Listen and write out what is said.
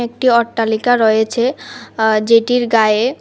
একটি অট্টালিকা রয়েছে আঃ যেটির গায়ে--